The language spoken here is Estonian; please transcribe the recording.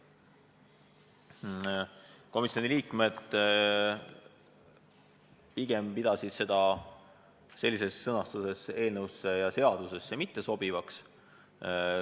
Komisjoni liikmed pidasid seda ettepanekut sellises sõnastuses eelnõusse ja seadusesse pigem mitte sobivaks.